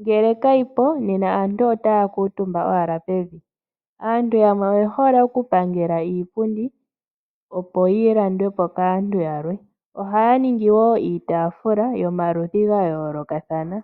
Ngele kayi po nena aantu otaya kuutumba owala pevi. Aantu yamwe oye hole oku pangela iipundi, opo yi landwe po kaantu yalwe. Oha ya ningi wo iitaafula yomaludhi ga yoolokathana.